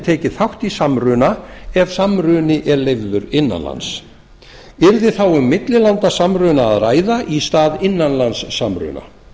tekið þátt í samruna ef samruni er leyfður innan lands yrði þá um millilandasamruna að ræða í stað innanlandssamruna